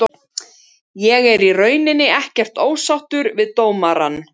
Ég er í rauninni ekkert ósáttur við dómarann.